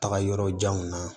Taga yɔrɔ janw na